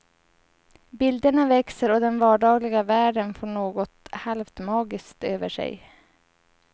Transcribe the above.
Bilderna växer och den vardagliga världen får något halvt magiskt över sig.